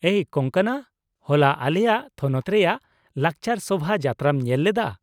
ᱮᱭ ᱠᱚᱝᱠᱚᱱᱟ ! ᱦᱚᱞᱟ ᱟᱞᱮᱭᱟᱜ ᱛᱷᱚᱱᱚᱛ ᱨᱮᱭᱟᱜ ᱞᱟᱠᱪᱟᱨ ᱥᱳᱵᱷᱟ ᱡᱟᱛᱨᱟᱢ ᱧᱮᱞ ᱞᱮᱫᱟ ?